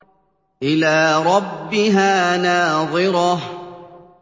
إِلَىٰ رَبِّهَا نَاظِرَةٌ